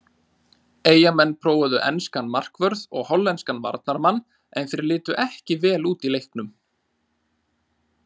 Eyjamenn prófuðu enskan markvörð og hollenskan varnarmann en þeir litu ekki vel út í leiknum.